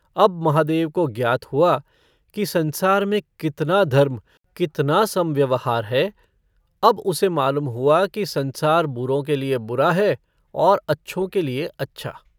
अब महादेव को ज्ञात हुआ कि संसार में कितना धर्म कितना सम्व्यवहार है अब उसे मालूम हुआ कि संसार बुरों के लिए बुरा है और अच्छों के लिए अच्छा।